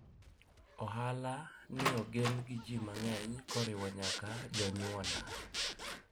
ohala ni ogen gi ji mang'eny koriwo nyaka jonyuona